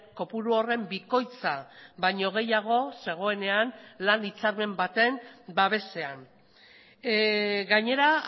kopuru horren bikoitza baino gehiago zegoenean lan hitzarmen baten babesean gainera